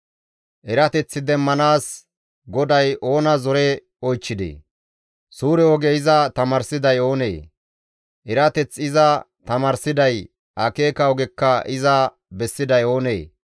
Erateth demmanaas GODAY oona zore oychchidee? Suure oge iza tamaarsiday oonee? Erateth iza tamaarsiday, akeeka ogekka iza bessiday oonee?